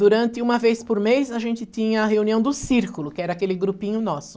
Durante uma vez por mês a gente tinha a reunião do círculo, que era aquele grupinho nosso.